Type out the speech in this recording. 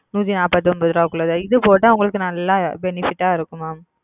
நூத்தி நாற்பத்தி ஒன்பதுருப உள்ளது இது போட்ட உங்களுக்கு நெல்லா benefit இருக்கும்ம